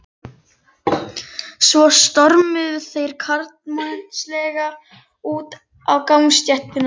Svo stormuðu þeir karlmannlega út á gangstéttina.